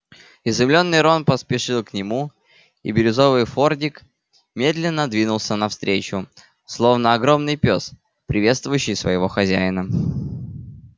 изумлённый рон поспешил к нему и бирюзовый фордик медленно двинулся навстречу словно огромный пёс приветствующий своего хозяина